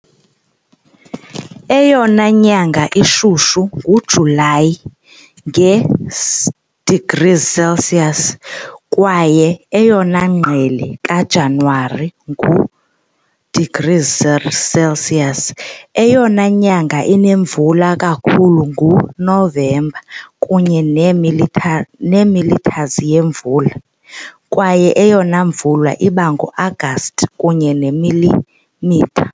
Eyona nyanga ishushu nguJulayi, nge-degrees Celsius, kwaye eyona ngqele kaJanuwari, ngu-degrees Celsius. Eyona nyanga inemvula kakhulu nguNovemba, kunye neemillimeters nemillimeters yemvula, kwaye eyona mvula iba ngoAgasti, kunye neemilimitha .